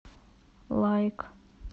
лайк